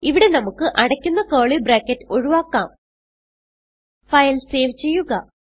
ഇവിടെ നമുക്ക് അടയ്ക്കുന്ന കർലി ബ്രാക്കറ്റ് ഒഴിവാക്കാം ഫയൽ സേവ് ചെയ്യുക